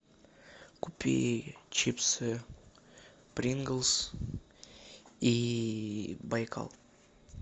купи чипсы принглс и байкал